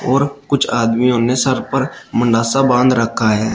और कुछ आदमियों ने सर पर मंडासा बांध रखा है।